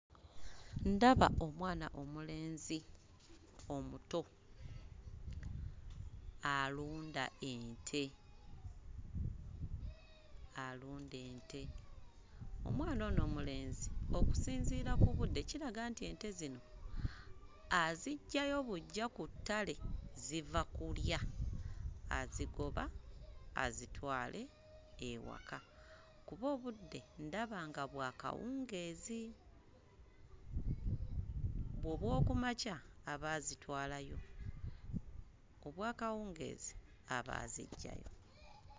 Ndaba omwana omulenzi omuto alunda ente alunda ente. Omwana ono omulenzi okusinziira ku budde kiraga nti ente zino aziggyayo buggya ku ttale, ziva kulya, azigobwa azitwale ewaka kuba obudde ndaba nga bwa kawungeezi. Obw'oku makya aba azitwalayo, obw'akawungeezi aba aziggyayo.